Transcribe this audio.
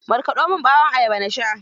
Markaɗo min ɓawon ayaba na sha.